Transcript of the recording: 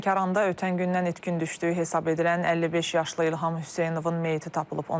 Lənkəranda ötən gündən itkin düşdüyü hesab edilən 55 yaşlı İlham Hüseynovun meyiti tapılıb.